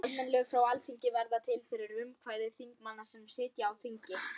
Það vantar allt eðlilegt samhengi í hausinn á þér.